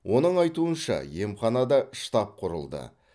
оның айтуынша емханада штаб құрылды